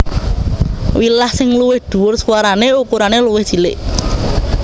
Wilah sing luwih dhuwur swarane ukurane luwih cilik